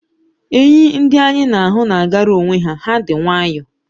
Enyi ndị anyị na-ahụ na-agara onwe ha, ha dị nwayọ